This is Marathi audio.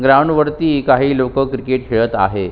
ग्राउंड वरती काही लोक क्रिकेट खेळत आहे.